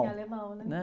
Em alemão, né?